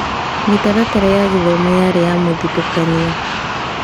Mĩtaratara ya gĩthomo yarĩ ya mũthutũkanio.